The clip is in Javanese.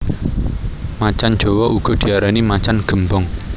Macan jawa uga diarani macan gémbong